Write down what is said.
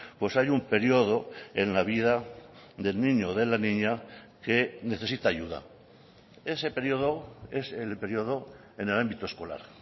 pues hay un periodo en la vida del niño o de la niña que necesita ayuda ese periodo es el periodo en el ámbito escolar